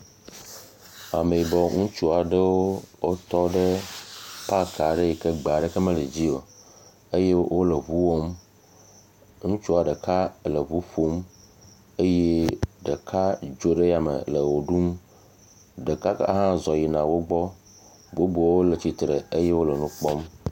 Ame yibɔ aɖewo tɔ ɖe paki ɖe yike gbe aɖeke me edzi o eye wole ŋu wɔm. Ŋutsa ɖeka le ŋu ƒom eye ɖeka dzo ɖe ya me le ʋe ɖum. Ɖeka hã zɔ yina ɖe wogbɔ, bubuwo le tsitre eye wole nu kpɔm